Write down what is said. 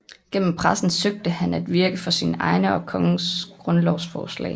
Gennem pressen søgte han at virke for sine egne og for kongens grundlovsforslag